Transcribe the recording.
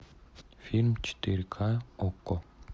фильм четыре ка окко